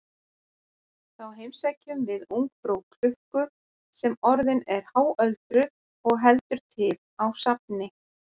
Þá heimsækjum við ungfrú klukku sem orðin er háöldruð og heldur til á safni.